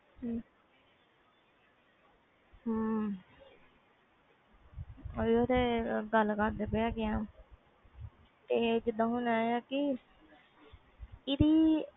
ਓਹੀ ਤੇ ਗੱਲ ਕਰਦੇ ਪਏ ਵ ਜੀਦਾ ਕਿ